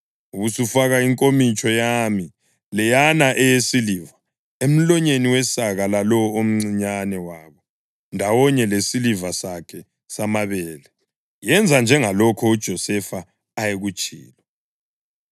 Ubusufaka inkomitsho yami, leyana eyesiliva, emlonyeni wesaka lalowo omncinyane wabo ndawonye lesiliva sakhe samabele.” Yenza njengalokho uJosefa ayekutshilo.